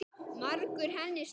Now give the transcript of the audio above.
Margur henni stendur á.